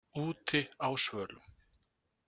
Úti á svölum.